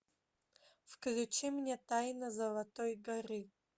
включи мне тайна золотой горы